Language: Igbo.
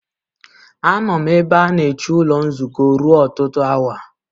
Anọ m ebe a na-eche ụlọ nzukọ ruo ọtụtụ awa.